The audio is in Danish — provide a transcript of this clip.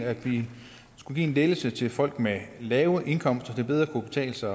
at give en lettelse til folk med lave indkomster så det bedre kan betale sig